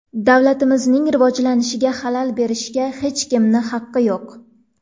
Davlatimizning rivojlanishiga xalal berishga hech kimning haqi yo‘q!